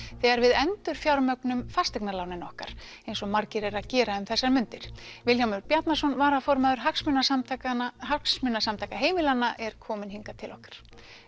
þegar við endurfjármögnun fasteignalánin okkar eins og margir eru að gera um þessar mundir Vilhjálmur Bjarnason varaformaður Hagsmunasamtaka Hagsmunasamtaka heimilanna er komin hingað til okkar